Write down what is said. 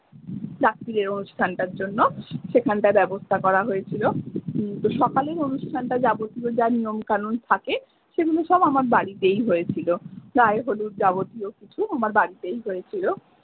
জন্য সেখানটার করা হয়েছিলো সকালেই অনুষ্ঠানটা যাবতীয় যা নিয়ম কানুন থাকে সেগুলো সব আমার বাড়িতেই হয়েছিলো গায়ে হলুদ যাবতীয় কিছু আমার বাড়িতেই হয়েছিলো।